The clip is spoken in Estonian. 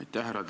Aitäh!